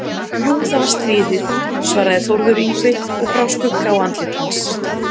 Jú, það var stríðið, svaraði Þórður Yngvi og brá skugga á andlit hans.